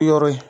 Yɔrɔ ye